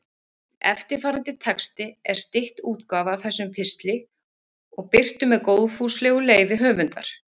Eftirfarandi texti er stytt útgáfa af þessum pistli og birtur með góðfúslegu leyfi höfundar.